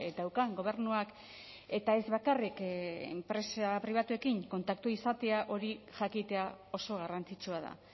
daukan gobernuak eta ez bakarrik enpresa pribatuekin kontaktua izatea hori jakitea oso garrantzitsua da